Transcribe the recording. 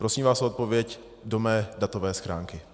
Prosím vás o odpověď do mé datové schránky.